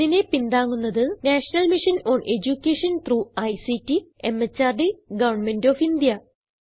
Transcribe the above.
ഇതിനെ പിന്താങ്ങുന്നത് national mission on education through ICT MHRD government of India